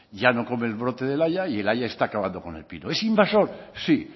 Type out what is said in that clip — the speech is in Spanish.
ya no comen brote del haya y el haya está acabando con el pino es invasor sí